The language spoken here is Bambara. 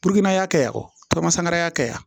ya kɛ ya ya kɛ yan